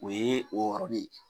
O ye o yɔrɔ de ye